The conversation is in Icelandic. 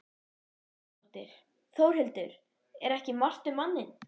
Edda Andrésdóttir: Þórhildur, er ekki margt um manninn?